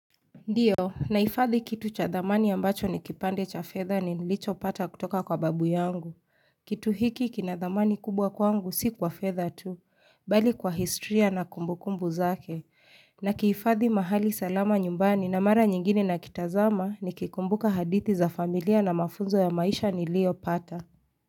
Ndiyo, naifadhi kitu cha dhamani ambacho ni kipande cha fedha ni nilicho pata kutoka kwa babu yangu. Kitu hiki kina dhamani kubwa kwangu si kwa fedha tu, bali kwa historya na kumbukumbu zake. Na kiifadhi mahali salama nyumbani na mara nyingine nakitazama nikikumbuka hadithi za familia na mafunzo ya maisha ni lio pata.